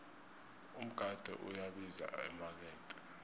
umgade uyabiza emakethe